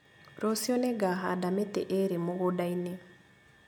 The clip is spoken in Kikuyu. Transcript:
Rũciũ nĩngahanda mĩtĩ ĩrĩ mũgũnda-inĩ